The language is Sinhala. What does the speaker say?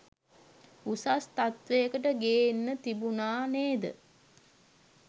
උසස් තත්වයකට ගේන්න තිබුණා නේද?